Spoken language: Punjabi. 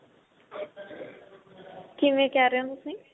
ਕਿਵੇਂ ਕਹਿ ਰਹੇ ਹੋ ਤੁਸੀਂ